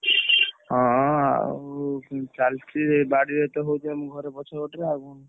ହଁ ଆଉ ଚାଲିଛି ସେ ବାଡିରେ ତ ହଉଛି ଆମ ଘର ପଛପଟେ ଆଉ କଣ?